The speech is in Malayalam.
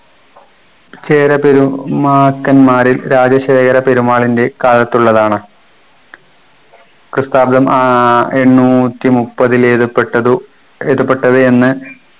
ചേര പെരുമാക്കന്മാരിൽ രാജശേഖര പെരുമാളിൻ്റെ കാലത്തുള്ളതാണ് പ്രസ്ഥാപിതം ആഹ് എണ്ണൂറ്റി മുപ്പതിൽ എഴുതപ്പെട്ടതു എഴുതപ്പെട്ടത് എന്ന്